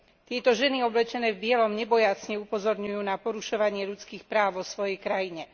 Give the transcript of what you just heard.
Tieto ženy oblečené v bielom nebojácne upozorňujú na porušovanie ľudských práv vo svojej krajine.